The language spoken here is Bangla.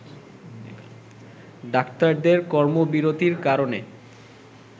ডাক্তারদের কর্মবিরতীর কারণে